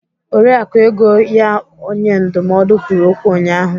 Oriakụ Ego ya onye ndụmọdụ kwụrụ okwu ụnyahụ.